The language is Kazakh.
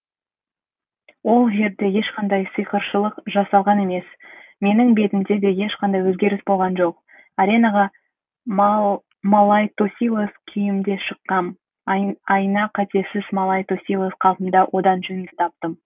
ол жерде ешқандай сиқыршылық жасалған емес менің бетімде де ешқандай өзгеріс болған жоқ аренаға малай тосилос күйімде шыққам айна қатесіз малай тосилос қалпымда одан жөнімді таптым